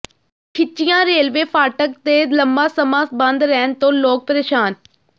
ਖਿੱਚੀਆਂ ਰੇਲਵੇ ਫਾਟਕ ਦੇ ਲੰਬਾ ਸਮਾਂ ਬੰਦ ਰਹਿਣ ਤੋਂ ਲੋਕ ਪ੍ਰੇਸ਼ਾਨ